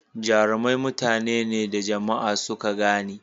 Jarumai mutane ne da jama'a suka gane.